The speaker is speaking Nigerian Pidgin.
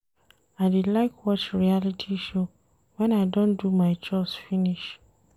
I dey like watch reality show wen I don do my chores finish.